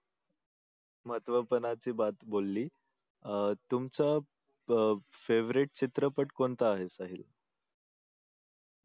महत्व पनाची बोलली अह तुमचा अह favorite चित्रपट कोणता आहे?